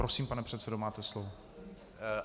Prosím, pane předsedo, máte slovo.